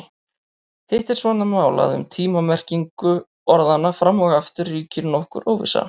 Hitt er svo annað mál að um tíma-merkingu orðanna fram og aftur ríkir nokkur óvissa.